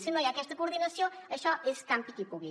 si no hi ha aquesta coordinació això és campi qui pugui